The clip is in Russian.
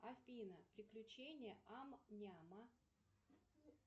афина приключения ам няма